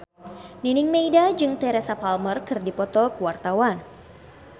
Nining Meida jeung Teresa Palmer keur dipoto ku wartawan